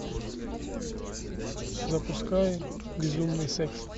запускай безумный секс